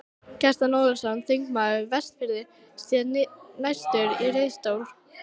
Kjartan Ólafsson, þingmaður Vestfirðinga, sté næstur í ræðustól.